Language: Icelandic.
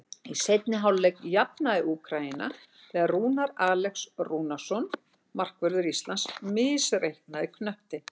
Í seinni hálfleik jafnaði Úkraína þegar Rúnar Alex Rúnarsson, markvörður Íslands, misreiknaði knöttinn.